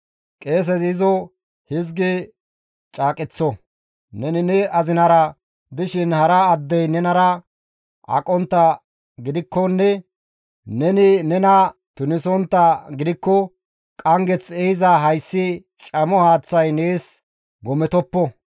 Qeesezi izo hizgi caaqeththo; neni ne azinara dishin hara addey nenara aqontta gidikkonne neni nena tunisontta gidikko qanggeth ehiza hayssi camo haaththay nees gometoppo.